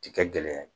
Ti kɛ gɛlɛya ye